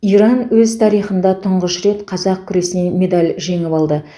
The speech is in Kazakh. иран өз тарихында тұңғыш рет қазақ күресінен медаль жеңіп алды